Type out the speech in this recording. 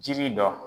Jiri dɔ